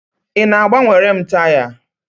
Ị na-agbanwere m taya?